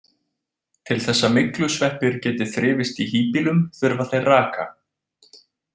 Til þess að myglusveppir geti þrifist í híbýlum þurfa þeir raka.